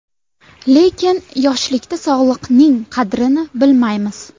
Lekin, yoshlikda sog‘liqning qadrini bilmaymiz.